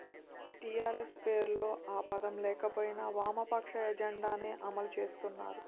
TRS పేరులో ఆ పదం లేకపోయినా వామపక్ష ఎజెండానే అమలు చేస్తున్నారు